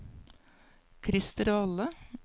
Krister Valle